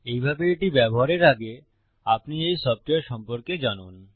এইভাবে এটি ব্যবহারের আগে আপনি এই সফ্টওয়্যার সম্পর্কে জানেন